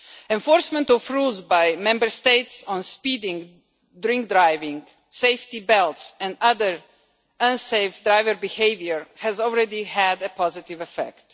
Enforcement of rules by Member States on speeding, drink driving, safety belts and other unsafe driver behaviour has already had a positive effect.